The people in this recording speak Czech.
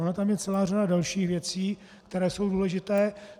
Ona tam je celá řada dalších věcí, které jsou důležité.